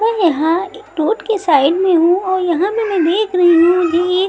मैं यहाँ एक रोड के साइड में हूँ और यहाँ मैं देख रही हूँ ये एक--